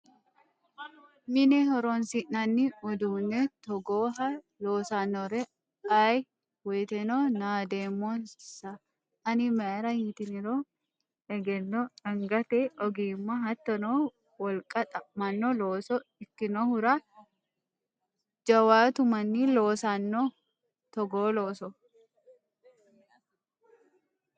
Mine horonsi'nanni uduune togooha loosanore ayee woyteno naademmonsa ani mayra ytiniro egenno angate ogimma hattono wolqa xa'mano looso ikkinohura jawaatu manni loossano togoo loosso.